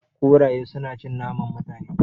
Kuraye su na cin naman Mutane